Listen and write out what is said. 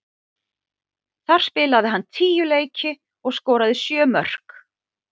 Þar spilaði hann tíu leiki og skoraði sjö mörk.